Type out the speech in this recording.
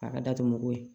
A ka datuguko ye